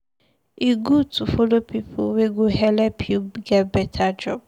E good to follow pipu wey go helep you get beta job.